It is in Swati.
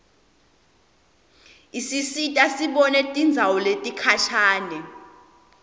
isisita sibone tindzawo letikhashane